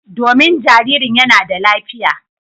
Domin jaririn yana da lafiya.